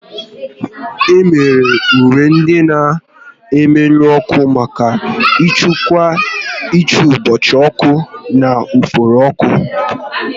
Emebere uwe ndị na-emenụ ọkụ maka nchekwa n'ìgbochi ọkụ na ufuru ọkụ